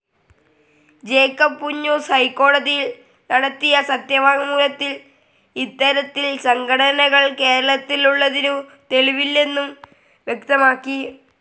Jacob Punnoose ഹൈക്കോടതിയിൽ നടത്തിയ സത്യവാങ് മൂലത്തിൽ ഇത്തരത്തിൽ സംഘടനകൾ കേരളത്തിൽ ഉള്ളതിനു തെളിവില്ലെന്നു വ്യക്തമാക്കി.